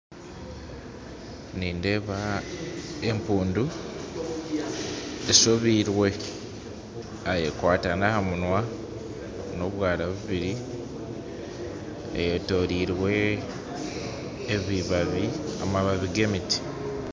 Nindeeba empundu eshobirwe yaayekwata n'aha munwa n'obwara bubiri, eyetoreirwe amababi g'emiti